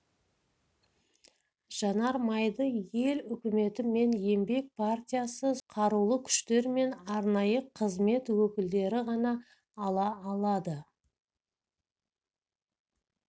жанармайды ел үкіметі мен еңбек партиясы сондай-ақ қарулы күштер мен арнайы қызмет өкілдері ғана ала алады